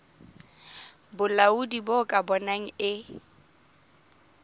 bolaodi bo ka bonang e